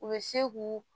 U bɛ se k'u